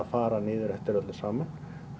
fara niður eftir öllu saman